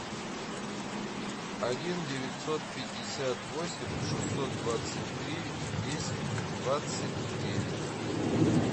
один девятьсот пятьдесят восемь шестьсот двадцать три десять двадцать девять